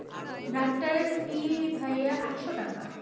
ডাক্তারের fee ভাইয়া আটশ টাকা.